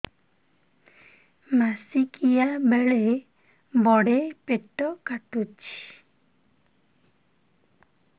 ମାସିକିଆ ବେଳେ ବଡେ ପେଟ କାଟୁଚି